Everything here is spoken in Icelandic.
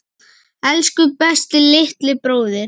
Elsku besti litli bróðir.